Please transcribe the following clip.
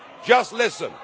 Just listen